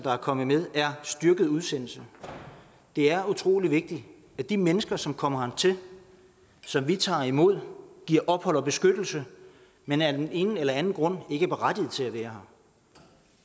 er kommet med er styrket udsendelse det er utrolig vigtigt at de mennesker som kommer hertil som vi tager imod giver ophold og beskyttelse men af den ene eller anden grund ikke er berettiget til at være